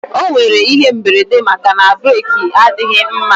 O nwere ihe mberede maka na breeki adịghị mma